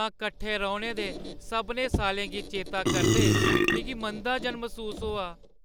तां कट्ठे रौह्‌ने दे सभनें साल्लें गी चेतै करदे मिगी मंदा जन मसूस होआ ।